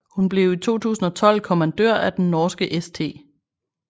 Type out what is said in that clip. Hun blev i 2012 kommandør af den norske St